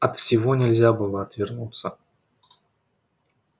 от всего нельзя было отвернуться